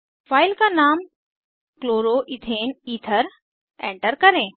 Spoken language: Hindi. फाइल का नाम क्लोरो ईथेन ईथर एंटर करें